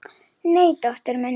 Nei, dóttur minni.